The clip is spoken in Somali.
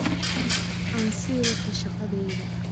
Aan sii wato shaqadayda.